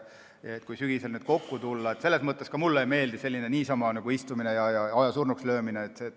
Ka mulle ei meeldi niisama istuda ja aega surnuks lüüa.